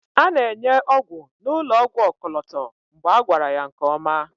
a na-enye ọgwụ n'ụlọ ọgwụ ọkọlọtọ mgbe a gwara ya nke ọma